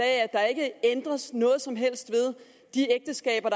at der ikke ændres noget som helst ved de ægteskaber